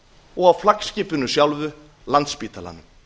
og á flaggskipinu sjálfu landspítalanum